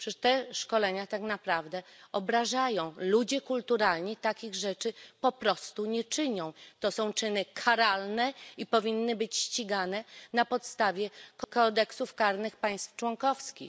Przecież te szkolenia tak naprawdę obrażają, ludzie kulturalni takich rzeczy po prostu nie czynią, to są czyny karalne i powinny być ścigane na podstawie kodeksów karnych państw członkowskich.